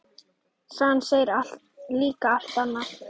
Sagan segir líka allt annað.